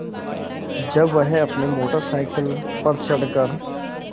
जब वह अपनी मोटर साइकिल पर चढ़ कर